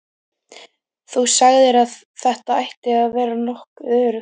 Þú sagðir að þetta ætti að vera nokkuð öruggt.